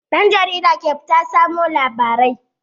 Ɗan jarida ke fita samo labarai.